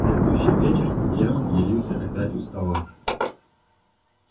в следующий вечер германн явился опять у стола